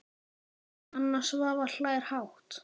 Anna Svava hlær hátt.